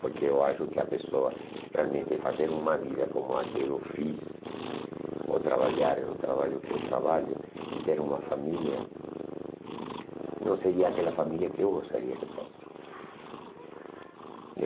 Porque eu acho que a pessoa realmente fazer uma vida como a que eu fiz, ou trabalhar em um trabalho que eu trabalho, e ter uma família, não seria aquela família que eu gostaria que fosse.